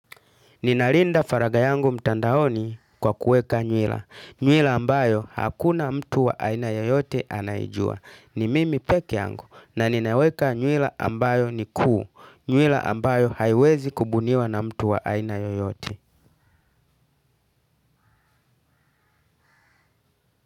Ninarinda faraga yangu mtandaoni kwa kuweka nywila. Nywila ambayo hakuna mtu wa aina yoyote anaijua. Ni mimi pekee yangu na ninaweka nywila ambayo ni kuu. Nywila ambayo haiwezi kubuniwa na mtu wa aina yoyote.